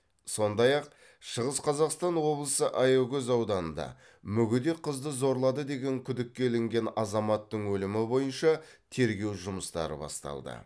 сондай ақ шығыс қазақстан облысы аягөз ауданында мүгедек қызды зорлады деген күдікке ілінген азаматтың өлімі бойынша тергеу жұмыстары басталды